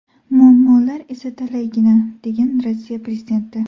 Muammolar esa talaygina”, degan Rossiya prezidenti.